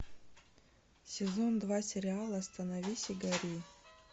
сезон два сериала остановись и гори